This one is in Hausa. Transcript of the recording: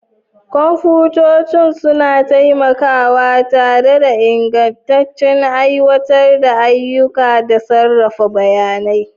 Kwamfutoci suna taimakawa tare da ingantaccen aiwatar da ayyuka da sarrafa bayanai.